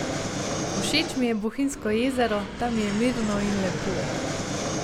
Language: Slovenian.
Všeč mi je Bohinjsko jezero, tam je mirno in lepo.